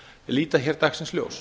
líta hér dagsins ljós